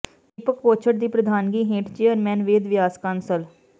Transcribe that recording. ਦੀਪਕ ਕੋਛੜ ਦੀ ਪ੍ਰਧਾਨਗੀ ਹੇਠ ਚੇਅਰਮੈਨ ਵੇਦ ਵਿਆਸ ਕਾਂਸਲ